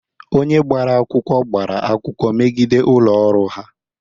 Onye gbara akwụkwọ gbara akwụkwọ megide ụlọ ọrụ ahụ.